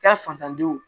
Ka fatandenw